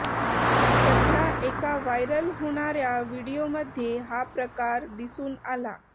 सध्या एका वायरल होणाऱ्या व्हिडीओमध्ये हा प्रकार दिसून आला